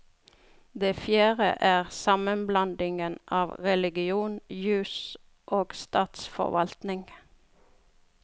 Det fjerde er sammenblandingen av religion, jus og statsforvaltning.